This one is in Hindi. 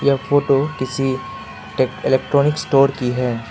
ये फोटो किसी टेक इलेक्ट्रॉनिक स्टोर की है।